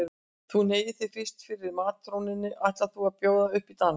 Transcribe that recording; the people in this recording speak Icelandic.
Þú hneigir þig fyrst fyrir matrónunni ætlir þú að bjóða upp í dans.